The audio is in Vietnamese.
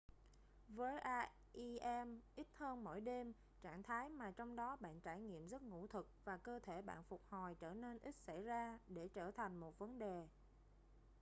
với rem ít hơn mỗi đêm trạng thái mà trong đó bạn trải nghiệm giấc ngủ thực và cơ thể bạn phục hồi trở nên ít xảy ra để trở thành một vấn đề